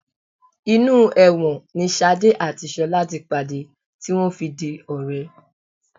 Inú ẹ̀wọ̀n ni ṣadé àti ṣọlá ti pàdé tí wọ́n fi di ọ̀rẹ́